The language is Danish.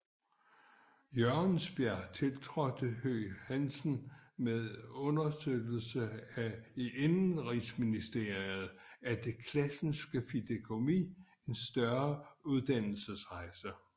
Jørgensbjerg tiltrådte Høegh Hansen med understøttelse af Indenrigsministeriet og det Classenske Fideikommis en større udlandsrejse